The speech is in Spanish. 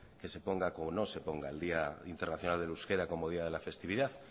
que se ponga o no se ponga el día internacional del euskera como día de la festividad